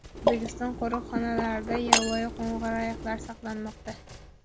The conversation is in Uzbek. O‘zbekiston qo‘riqxonalarida yovvoyi qo‘ng‘ir ayiqlar saqlanmoqda.